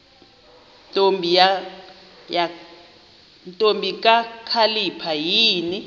ntombi kakhalipha yini